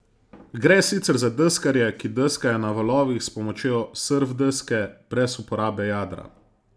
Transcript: Gre sicer za deskarje, ki deskajo na valovih s pomočjo surf deske, brez uporabe jadra.